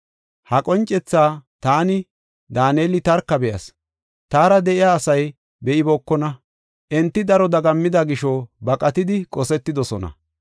Ha qoncetha taani, Daaneli tarka be7as. Taara de7iya asay be7ibookona; enti daro dagammida gisho baqatidi qosetidosona.